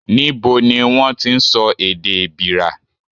Níbo ni wón ti ń sọ èdè Èbìrà?